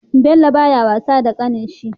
Bello baya wasa da ƙanin shi